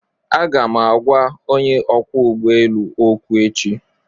Aga m agwa onye ọkwọ ụgbọ elu okwu echi